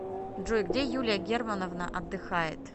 джой где юлия германовна отдыхает